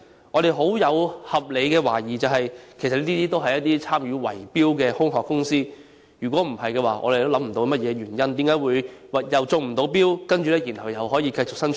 我們抱有合理懷疑，認為這些其實均是參與圍標的空殼公司，否則我們也想不到有何原因令這些未能中標的公司可以繼續營運。